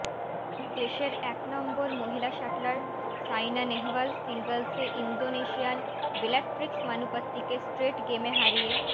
দেশের এক নম্বর মহিলা শাটলার সাইনা নেহওয়াল সিঙ্গলসে ইন্ডোনেশিয়ার বেলাট্রিক্স মানুপত্তিকে স্ট্রেট গেমে হারিয়ে